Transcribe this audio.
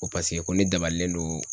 Ko paseke ko ne dabalilen don